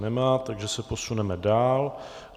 Nemá, takže se posuneme dál.